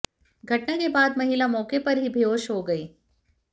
घटना के बाद महिला मौके पर ही बेहोश हो गई